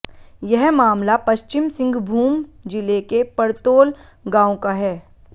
यह मामला पश्चिम सिंहभूम जिले के पर्तोल गांव का है